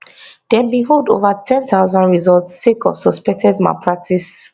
dem bin hold ova 10000 results sake of suspected malpractices